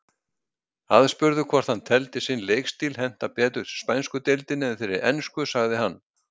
Aðspurður hvort hann teldi sinn leikstíl henta betur spænsku deildinni en þeirri ensku sagði hann.